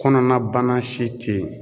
Kɔnɔna bana si te ye